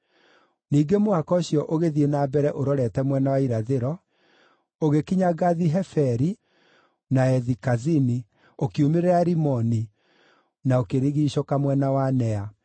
Ningĩ mũhaka ũcio ũgĩthiĩ na mbere ũrorete mwena wa irathĩro, ũgĩkinya Gathi-Heferi na Ethi-Kazini; ũkiumĩrĩra Rimoni, na ũkĩrigiicũka mwena wa Nea.